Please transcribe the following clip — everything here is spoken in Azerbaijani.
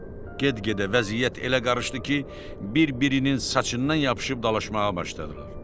Get-gedə vəziyyət elə qarışdı ki, bir-birinin saçından yapışıb dalaşmağa başladılar.